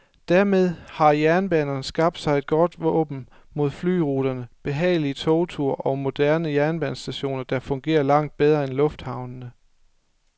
Dermed har jernbanerne skabt sig et godt våben mod flyruterne, behagelige togture og moderne jernbanestationer, der fungerer langt bedre end lufthavnene.